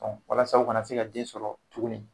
walasa u ka na se ka den sɔrɔ tuguni.